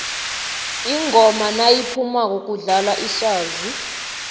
ingoma nayiphumako kudlalwa iswazi